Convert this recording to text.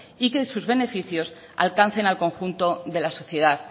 y que sus beneficios alcancen al conjunto de la sociedad